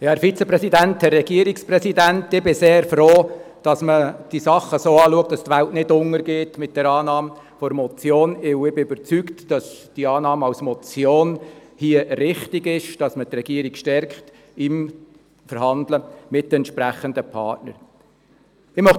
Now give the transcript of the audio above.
Ich bin sehr froh, dass man der Meinung ist, dass die Welt mit der Annahme einer Motion nicht untergeht, denn ich bin davon überzeugt, dass die Annahme als Motion hier richtig ist und dass man die Regierung damit beim Verhandeln mit den betreffenden Partnern stärkt.